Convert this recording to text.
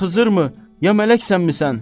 Bir xızırmı ya mələksənmi sən?